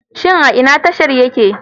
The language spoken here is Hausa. Shin a ina tashar take?